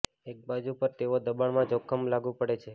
એક બાજુ પર તેઓ દબાણમાં જોખમ લાગુ પડે છે